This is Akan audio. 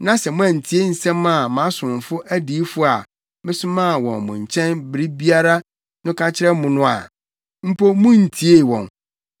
na sɛ moantie nsɛm a mʼasomfo adiyifo a mesoma wɔn mo nkyɛn bere biara no ka kyerɛ mo no a, (mpo munntiee wɔn),